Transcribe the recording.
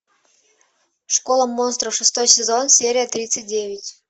школа монстров шестой сезон серия тридцать девять